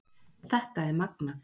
Þetta er magnað